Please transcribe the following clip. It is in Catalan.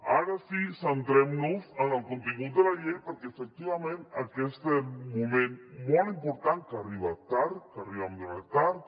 ara sí centrem nos en el contingut de la llei perquè efectivament aquest és un moment molt important que ha arribat tard arribem tard